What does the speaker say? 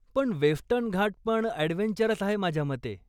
पण वेस्टर्न घाटपण ॲडव्हेंचरस आहे माझ्यामते.